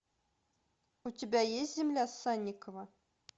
у тебя есть земля санникова